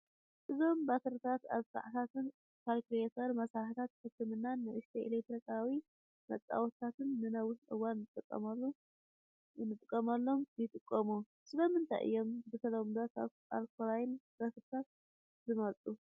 እዞም ባትሪታት ኣብ ሰዓታት፡ ካልኩሌተር፡ መሳርሒታት ሕክምናን ንኣሽቱ ኤለክትሮኒካዊ መጻወቲታትን ንነዊሕ እዋን ንኽጥቀሙ ይጥቀሙ። ስለምንታይ እዮም ብተለምዶ ካብ ኣልካላይን ባትሪታት ዝምረጽ?